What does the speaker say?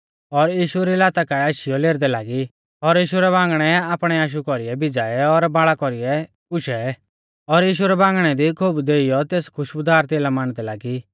और यीशु री लाता काऐ आशीयौ लेरदै लागी और यीशु रै बांगणै आपणै आशु कौरीऐ भिज़ाऐ और आपणै बाल़ा कौरीऐ गुशै और यीशु रै बांगणै दी खोबु देइयौ तेस खुश्बुदार तेला मांडदै लागी